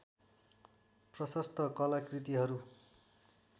प्रशस्त कलाकृतिहरू